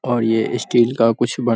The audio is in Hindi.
और ये स्टील का कुछ बन --